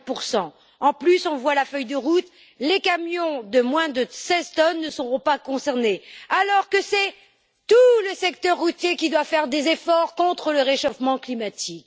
40 De plus, selon la feuille de route, les camions de moins de 16 tonnes ne seront pas concernés, alors que c'est tout le secteur routier qui doit faire des efforts contre le réchauffement climatique.